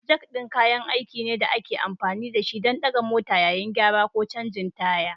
Jak ɗin kayan aiki ne da ake amfani da shi don ɗaga mota yayin gyara ko canjin taya.